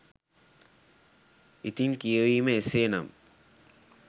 ඉතින් කියවීම එසේ නම්